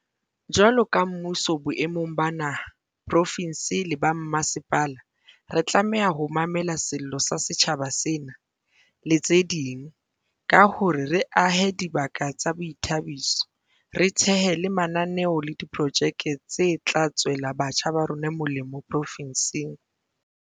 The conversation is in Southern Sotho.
Jwalo ka mmuso boemong ba naha, profinse le ba mmasepala, re tlameha ho mamela sello sa setjhaba sena, le tse ding, ka hore re ahe dibaka tsa boithabiso, re thehe le mananeo le diprojeke tse tla tswela batjha ba rona molemo profinseng.